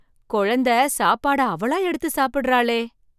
குழந்தை சாப்பாடு அவளா எடுத்து சாப்பிடுகிறாளே!